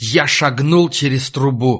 я шагнул через трубу